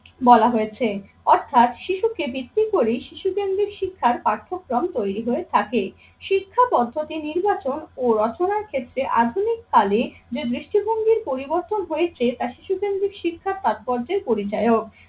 বলা হয়েছে অর্থাৎ শিশুকে ভিত্তি করেই শিশু কেন্দ্রিক শিক্ষার পার্থক্রম তৈরি হয়ে থাকে। শিক্ষা পদ্ধতি নির্বাচন ও রচনার ক্ষেত্রে আধুনিক কালে যে দৃষ্টিভঙ্গির পরিবর্তন হয়েছে তা শিশু কেন্দ্রিক শিক্ষার তাৎপর্যের পরিচালক।